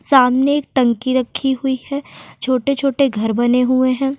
सामने एक टंकी रखी हुई है छोटे छोटे घर बने हुए हैं।